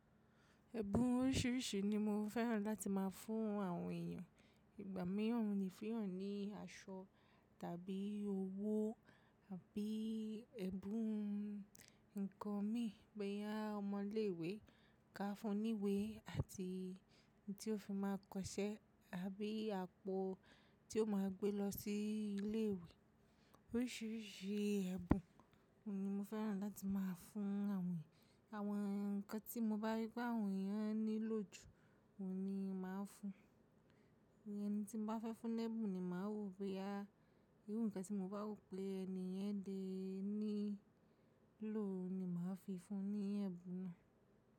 Ẹ̀bùn oríṣiríṣi ni mo fẹ́ràn láti máa fún àwọn èèyàn, ìgbà mìíràn mo le fun eyan ní aṣọ tàbí owó àbí ẹ́bùn ǹkan mìíràn, boyà ọmọ ilé ìwé, ká fún un ní ìwé àti ohun tí ó fi máa kọṣẹ́ àbí àpò tí ó máa gbé lọ sí ilé ìwé. Oríṣiríṣi ẹ́bùn ni mo fẹ́ràn láti máa fún àwọn èèyàn, àwọn ǹkan tí mo bá rí pé àwọn èèyàn nílò jù, òhun ni màá fún un. Ẹni tí mo bá fẹ́ fún ní ẹ́bùn ni màá wò, bí i irú ǹkan tí mo bá rò pé ẹni yẹn dé nílò ni màá fi fún un ní ẹ́bùn náà.